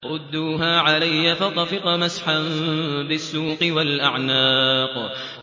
رُدُّوهَا عَلَيَّ ۖ فَطَفِقَ مَسْحًا بِالسُّوقِ وَالْأَعْنَاقِ